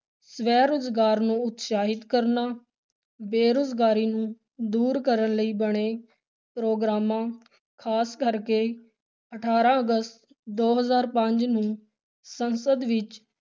ਸਵੈ-ਰੁਜ਼ਗਾਰ ਨੂੰ ਉਤਸ਼ਾਹਿਤ ਕਰਨਾ, ਬੇਰੁਜ਼ਗਾਰੀ ਨੂੰ ਦੂਰ ਕਰਨ ਲਈ ਬਣੇ ਪ੍ਰੋਗਰਾਮਾਂ ਖ਼ਾਸ ਕਰਕੇ ਅਠਾਰਾਂ ਅਗਸਤ ਦੋ ਹਜ਼ਾਰ ਪੰਜ ਨੂੰ ਸੰਸਦ ਵਿੱਚ